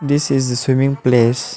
This is a swimming place.